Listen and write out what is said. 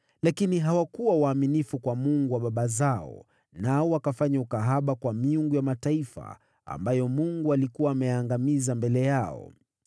Lakini hawakuwa waaminifu kwa Mungu wa baba zao, nao wakafanya ukahaba kwa miungu ya mataifa, ambayo Mungu alikuwa ameyaangamiza mbele yao.